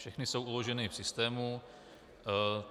Všechny jsou uloženy v systému.